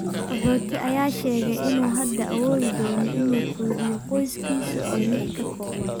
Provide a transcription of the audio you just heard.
Qaxooti ayaa sheegay inuu hadda awoodi doono inuu quudiyo qoyskiisa oo lix ka kooban.